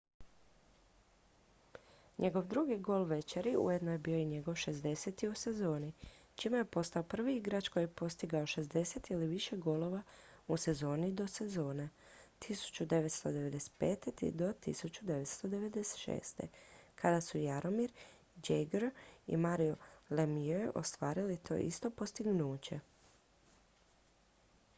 njegov drugi gol večeri ujedno je bio i njegov 60. u sezoni čime je postao prvi igrač koji je postigao 60 ili više golova u sezoni od sezone 1995./1996. kada su jaromir jagr i mario lemieux ostvarili to isto postignuće